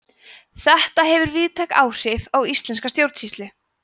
þetta hefur víðtæk áhrif á íslenska stjórnsýslu